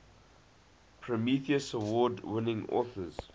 prometheus award winning authors